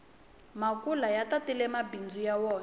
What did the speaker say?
makula ya tatile mabindzu ya wona